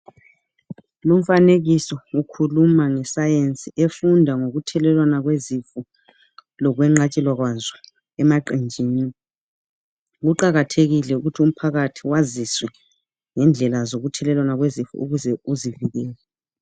Lumfanekiso ukhuluma nge Science efunda ngokuthelelwana kwezifo lokwenqatshelwa kwazo emaqenjini. Kuqakathekile ukuthi umphakathi waziswe ngendlela zokuthelelwana kwezifo ukuze uzivikele